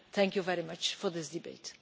Thank you very much for this debate.